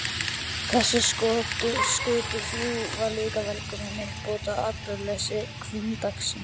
Þessi skötuhjú voru líka velkomin uppbót á atburðaleysi hvunndagsins.